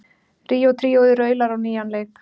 Ríó tríóið raular á nýjan leik